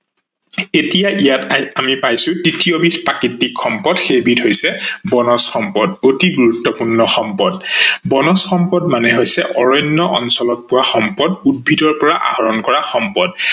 এতিয়া ইয়াত আহি আমি পাইছো তৃতীয় বিধ প্ৰাকৃতিক সম্পদ সেইবিধ হৈছে বনজ সম্পদ । অতি গুৰুত্বপূৰ্ণ সম্পদ, বনজ সম্পদ মানে হৈছে অৰণ্য অঞ্চলত পোৱা সম্পদ, উদ্ভিদৰ পৰা আহৰন কৰা সম্পদ